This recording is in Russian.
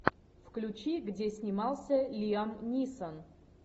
включи где снимался лиам нисон